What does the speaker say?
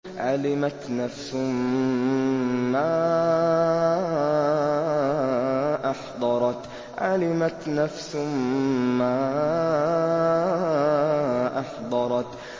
عَلِمَتْ نَفْسٌ مَّا أَحْضَرَتْ